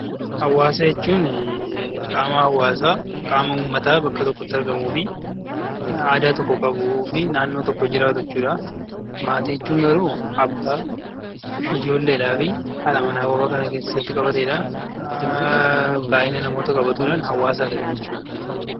Hawaasa jechuun qaama uummataa bakka tokkotti argamuu fi naannoo tokko jiraatu jechuudha. Maatii jechuun garuu abbaa ijoolleedhaa fi haadha manaa fa'aa kan of keessatti qabatedha. Baayyina namoota qabatuudhaan hawaasaa gad jechuudha.